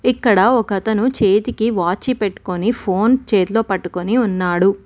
ఇక్కడ ఒకతను చేతికి వాచి పెట్టుకొని ఫోన్ చేతిలో పట్టుకొని ఉన్నాడు.